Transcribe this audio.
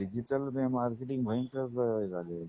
Digital marketing भयंकर हे झाले आहे.